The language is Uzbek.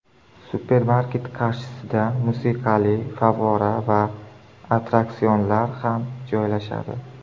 Supermarket qarshisida musiqali favvora va attraksionlar ham joylashadi.